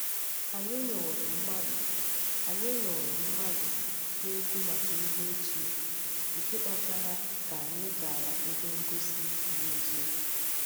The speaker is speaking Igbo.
Anyị nụrụ mmadụ Anyị nụrụ mmadụ na-ekwu maka ihe ochie, nke kpatara ka anyị gara ebe ngosi dị nso.